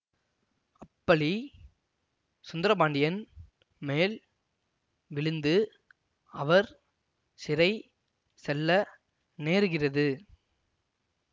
அப்பழி சுந்தரபாண்டியன் மேல் விழுந்து அவர் சிறை செல்ல நேருகிறது